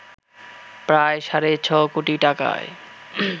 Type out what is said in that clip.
প্রায় সাড়ে ছ কোটি টাকায়